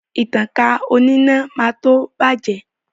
Ìtankà oníná máa tó bàjẹ́